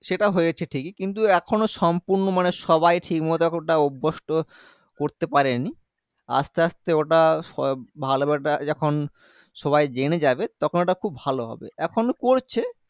সেটা হয়েছে ঠিকই কিন্তু এখনও সম্পুর্ন্য মানে সবাই ঠিকমতো ওটা অভ্যস্ত করতে পারেনি আস্তে আস্তে ওটা সব ভালো হবে ওটা যেখন সবাই জেনে যাবে তখন ওটা খুব ভালো হবে এখনও করছে